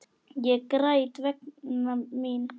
Ég græt vegna mín.